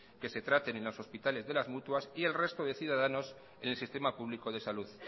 que se traten en los hospitales de las mutuas y el resto de ciudadanos en el sistema público de salud